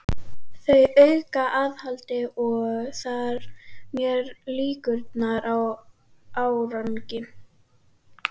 Þau auka aðhald og þar með líkurnar á árangri.